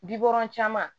Bikɔnɔn caman